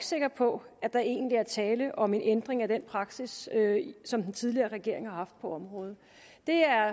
sikker på at der egentlig er tale om en ændring af den praksis som den tidligere regering har haft på området